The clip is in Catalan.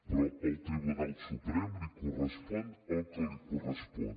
però al tribunal suprem li correspon el que li correspon